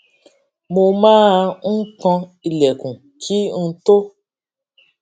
mo máa n kan ilèkùn kí n tó